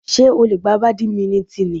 Ṣé ó lè gbá bàdímínítìnì?